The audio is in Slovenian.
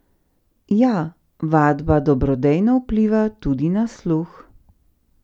Ja, vadba dobrodejno vpliva tudi na sluh!